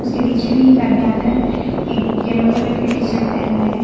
इसके पीछे भी एक आदमी आ रहा है एक येलो कलर की टी शर्ट पहना है।